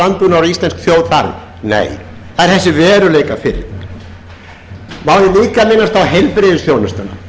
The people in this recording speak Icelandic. landbúnaður og íslensk þjóð þarf nei það er þessi veruleikafirring má ég líka minnast á heilbrigðisþjónustuna